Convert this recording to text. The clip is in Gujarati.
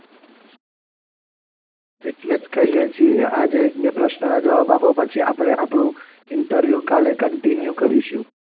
એટલે જ કહીએ છીએ આજે એક બે પ્રશ્નના જવાબ આપો પછી આપણે આપણું ઇન્ટરવ્યૂ કાલે continue કરીશું.